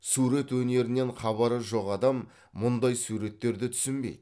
сурет өнерінен хабары жоқ адам мұндай суреттерді түсінбейді